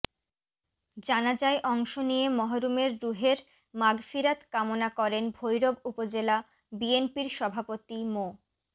জানাজায় অংশ নিয়ে মরহুমের রুহের মাগফিরাত কামনা করেন ভৈরব উপজেলা বিএনপির সভাপতি মো